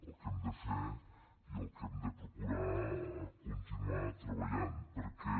el que hem de fer i el que hem de procurar continuar treballant perquè